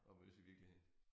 At mødes i virkeligheden